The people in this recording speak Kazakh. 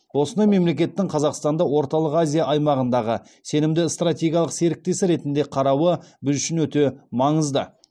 осындай мемлекеттің қазақстанды орталық азия аймағындағы сенімді стратегиялық серіктесі ретінде қарауы біз үшін өте маңызды